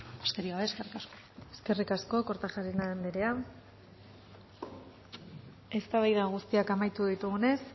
besterik gabe eskerrik asko eskerrik asko kortajarena andrea eztabaida guztiak amaitu ditugunez